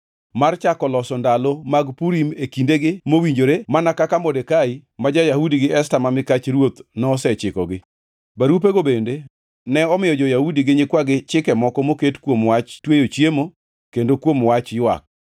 mar chako loso ndalo mag Purim e kindegi mowinjore, mana kaka Modekai ma ja-Yahudi gi Esta ma mikach ruoth nosechikogi. Barupego bende ne omiyo jo-Yahudi gi nyikwagi chike moko moket kuom wach tweyo chiemo kendo kuom wach ywak.